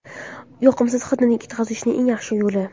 Yoqimsiz hidni ketkazishning eng yaxshi yo‘li.